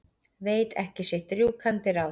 Veit ekki sitt rjúkandi ráð.